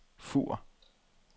Fur